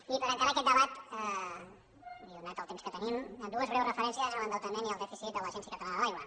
i per encarar aquest debat i donat el temps que tenim dues breus referències a l’endeutament i al dèficit de l’agència catalana de l’aigua